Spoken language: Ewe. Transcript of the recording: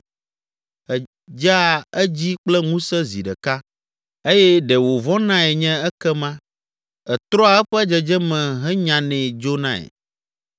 Èdzea edzi kple ŋusẽ zi ɖeka eye ɖe wòvɔnae nye ekema; ètrɔa eƒe dzedzeme henyanɛ dzonae.